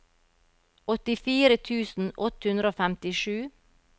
åttifire tusen åtte hundre og femtisju